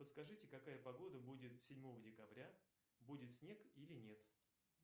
подскажите какая погода будет седьмого декабря будет снег или нет